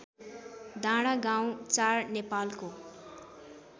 डाँडागाउँ ४ नेपालको